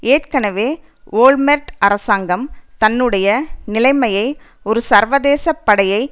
ஏற்கனவே ஓல்மெர்ட் அரசாங்கம் தன்னுடைய நிலைமையை ஒரு சர்வதேச படையை